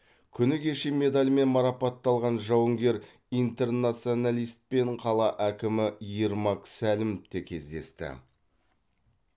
күні кеше медальмен марапатталған жауынгер интернационалистпен қала әкімі ермак сәлімов те кездесті